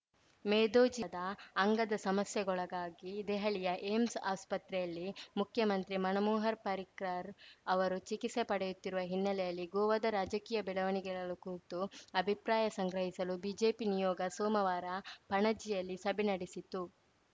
ಮೇದೋಜೀದ ಅಂಗದ ಸಮಸ್ಯೆಗೊಳಗಾಗಿ ದೆಹಲಿಯ ಏಮ್ಸ್‌ ಆಸ್ಪತ್ರೆಯಲ್ಲಿ ಮುಖ್ಯಮಂತ್ರಿ ಮನೋಮೋಹರ ಪರ್ರಿಕರ್‌ ಅವರು ಚಿಕಿತ್ಸೆ ಪಡೆಯುತ್ತಿರುವ ಹಿನ್ನೆಲೆಯಲ್ಲಿ ಗೋವಾದ ರಾಜಕೀಯ ಬೆಳವಣಿಗೆಗಳ ಕುರಿತು ಅಭಿಪ್ರಾಯ ಸಂಗ್ರಹಿಸಲು ಬಿಜೆಪಿ ನಿಯೋಗ ಸೋಮವಾರ ಪಣಜಿಯಲ್ಲಿ ಸಭೆ ನಡೆಸಿತು